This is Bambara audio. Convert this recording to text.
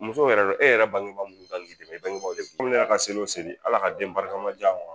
Muso yɛrɛ e yɛrɛ bangebaa minnu kan k'i dɛmɛ, i bangebaw de ko ka seli o seli ala ka den barikama di yan.